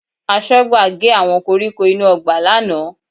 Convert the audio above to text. Aṣọ́gbà gé àwọn koríko inú ọgbà lánàá